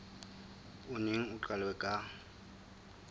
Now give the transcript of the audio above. o neng o qalwe ka